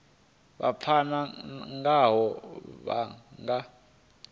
vha pfana ngaho vha nga